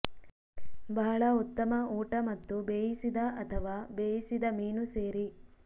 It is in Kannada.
ಬಹಳ ಉತ್ತಮ ಊಟ ಮತ್ತು ಬೇಯಿಸಿದ ಅಥವಾ ಬೇಯಿಸಿದ ಮೀನು ಸೇರಿ